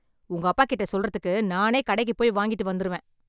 உங்க அப்பாகிட்ட சொல்றதுக்கு நானே கடைக்கு போய் வாங்கிட்டு வந்துருவேன்